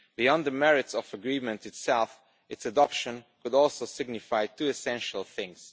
Beyond the merits of the agreement itself, its adoption would also signify two essential things.